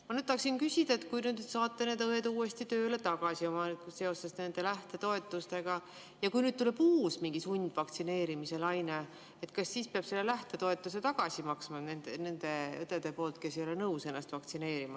Ma tahaksin küsida, et kui te nüüd saate need õed tööle tagasi seoses nende lähtetoetustega, aga kui siis tuleb mingi uus sundvaktsineerimise laine, kas siis peavad selle lähtetoetuse tagasi maksma näiteks need õed, kes ei ole nõus ennast vaktsineerima.